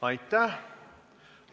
Aitäh!